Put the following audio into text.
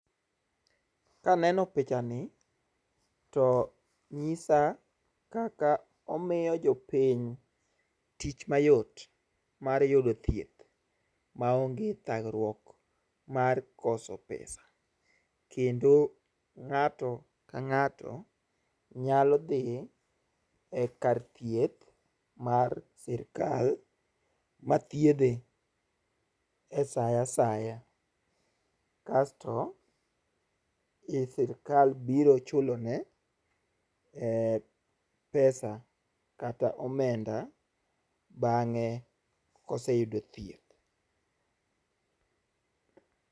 Kaneno picha ni to, nyisa kaka omiyo jopiny tich mayot mar yudo thieth maonge thagruok mar koso pesa. Kendo ng'ato ka ng'ato nyalo dhi e kar thieth mar Sirkal ma thiedhe e saa asaya, kasto Sirkal biro chulo ne pesa kata omenda, bang'e koseyudo thieth.